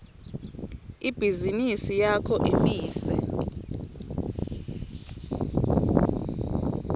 ibhizinisi yakho imise